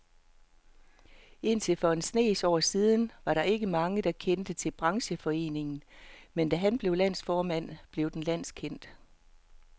Indtil for en snes år siden var der ikke mange, der kendte til brancheforeningen, men da han blev landsformand, blev den landskendt.